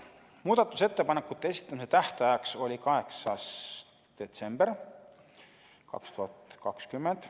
Muudatusettepanekute esitamise tähtajaks oli 8. detsember 2020.